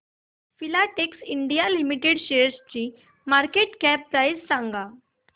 Filatex India limited शेअरची market cap price सांगा